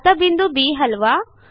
आता बिंदू बी हलवा